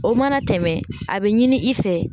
O mana tɛmɛ a bɛ ɲini i fɛ